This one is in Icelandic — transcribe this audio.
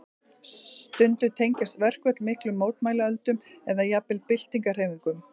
Stundum tengjast verkföll miklum mótmælaöldum eða jafnvel byltingarhreyfingum.